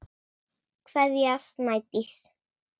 Kveðja, Snædís.